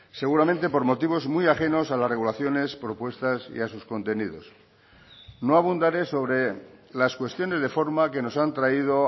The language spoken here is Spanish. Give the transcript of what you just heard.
seguramente por motivos muy ajenos a las regulaciones propuestas y a sus contenidos no abundaré sobre las cuestiones de forma que nos han traído